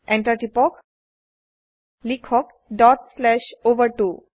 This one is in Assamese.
Enter টিপক লিখক ডট শ্লেচ অভাৰ2